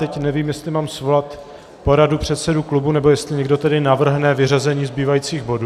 Teď nevím, jestli mám svolat poradu předsedů klubů, nebo jestli někdo tedy navrhne vyřazení zbývajících bodů.